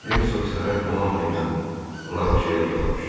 Hersoq səhər donanma ilə Laroşellə yola düşür.